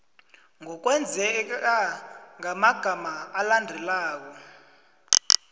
ngokwengeza ngamagama alandelako